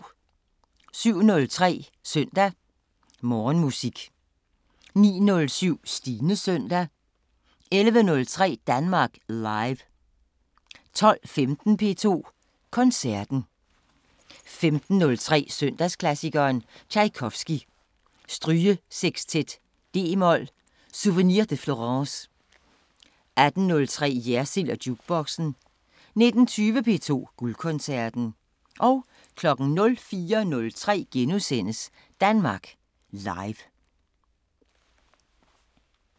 07:03: Søndag Morgenmusik 09:07: Stines Søndag 11:03: Danmark Live 12:15: P2 Koncerten 15:03: Søndagsklassikeren – Tjajkovskij: Strygesexstet d-mol "Souvenir de Florence" 18:03: Jersild & Jukeboxen 19:20: P2 Guldkoncerten 04:03: Danmark Live *